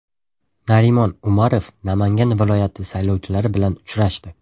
Narimon Umarov Namangan viloyati saylovchilari bilan uchrashdi.